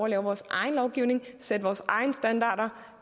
at lave vores egen lovgivning sætte vores egne standarder